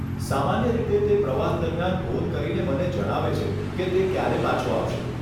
સામાન્ય રીતે તે પ્રવાસ દરમિયાન ફોન કરીને મને જણાવે છે કે તે ક્યારે પાછો આવશે.